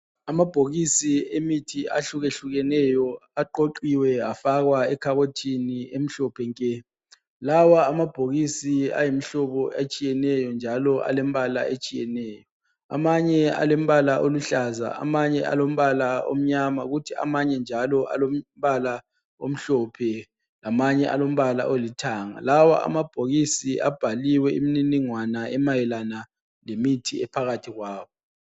Amabhokisi emithi ahlukehlukeneyo aqoqiwe afakwa ekhabothini emhlophe nke. Lawa amabhokisi ayimihlobo etshiyeneyo njalo alembala etshiyeneyo. Amanye alombala oluhlaza, amanye alombala omnyama kuthi amanye njalo alombala omhlophe, lamanye alombala olithanga. Amabhokisi lawa abhaliwe imininigwana emayelana lemithi ephakathi kwawo.